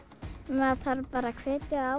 maður þarf bara að hvetja